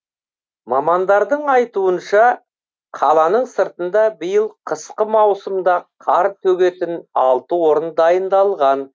мамандардың айтуынша қаланың сыртында биыл қысқы маусымда қар төгетін алты орын дайындалған